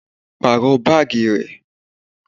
Pàrọ baagi rẹ!